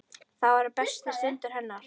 Það voru bestu stundir hennar.